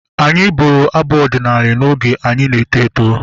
Anyị bụrụ abụ ọdịnala oge anyị na-eto eto